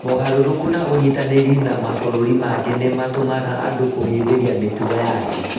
Mogarũrũku ma ũnyitanĩri na mabũrũri mangĩ nĩ matũmaga andũ kũhĩmbĩria mĩtugo ya thĩ.